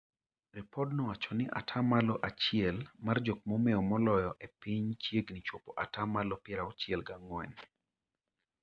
Ripodno owachoni atamalo achiel mar jokma omeo moloyo e piny chiegni chopo atamalo piero auchiel gi ang'wen.